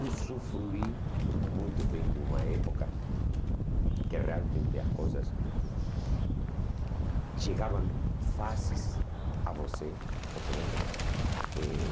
Usufruí muito bem de uma época que realmente as coisas chegavam fáceis a você, compreende? E